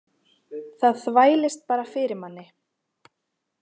Það þvælist bara fyrir manni.